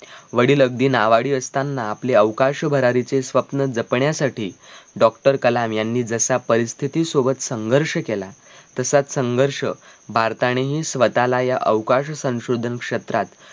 वडील अगदी नावाडी असताना आपले अवकाश भरारीचे स्वप्न जपण्यासाठी doctor कलाम यांनी जसा परिस्थितीसोबत संघर्ष केला तसाच संघर्ष भारतानेही स्वतःला या अवकाश संशोधन क्षेत्रात